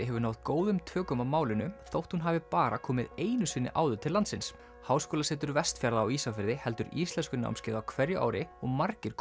hefur náð góðum tökum á málinu þótt hún hafi bara komið einu sinni áður til landsins háskólasetur Vestfjarða á Ísafirði heldur íslenskunámskeið á hverju ári og margir